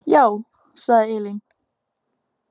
Já, sagði Elín.